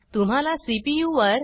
तुम्हाला सीपीयू वर